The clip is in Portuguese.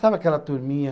Sabe aquela turminha?